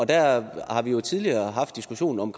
der har vi jo tidligere haft diskussionen om